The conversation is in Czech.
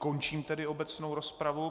Končím tedy obecnou rozpravu.